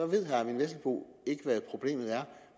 ved herre eyvind vesselbo ikke hvad problemet er